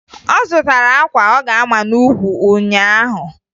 Ọ zụtara akwa ọ ga-ama n'ukwu ụnyaahụ